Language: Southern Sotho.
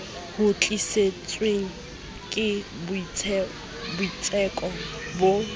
ho tlisitswe ke boitseko bo